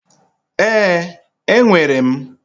Ee, enwere m,